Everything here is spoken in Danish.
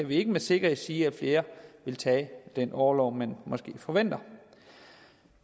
vi ikke med sikkerhed sige at flere vil tage den orlov man måske forventer